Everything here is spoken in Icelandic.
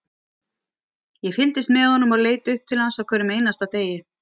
Ég fylgdist með honum og leit upp til hans á hverjum einasta degi,